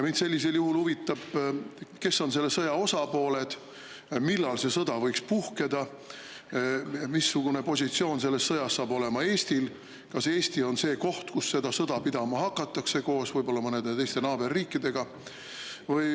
Sellisel juhul mind huvitab, kes on selle sõja osapooled, millal see sõda võiks puhkeda, missugune positsioon selles sõjas saab olema Eestil ja kas Eesti koos võib-olla mõnede naaberriikidega on see koht, kus seda sõda pidama hakatakse.